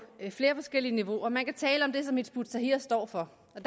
flere forskellige niveauer man kan tale om det som hizb ut tahrir står for og